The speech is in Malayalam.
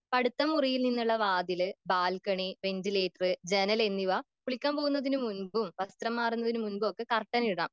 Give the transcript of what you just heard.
അടുത്ത മുറിയിൽ നിന്നുള്ള വാതിൽ ബാൽക്കണി വെന്റിലേറ്റർ ജനൽ എന്നിവ കുളിക്കാൻ പോകുന്നതിന് മുൻപും വസ്ത്രം മാറുന്നതിനു മുൻപും ഒക്കെ കർട്ടൻ ഇടണം